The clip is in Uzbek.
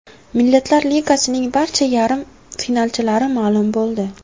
Millatlar Ligasining barcha yarim finalchilari ma’lum bo‘ldi.